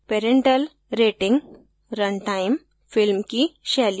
parental rating runtime film की शैली